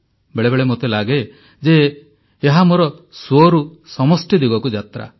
ବେଳେବେଳେ ମୋତେ ଲାଗେ ଯେ ଏହା ମୋର ସ୍ୱରୁ ସମଷ୍ଟି ଦିଗକୁ ଯାତ୍ରା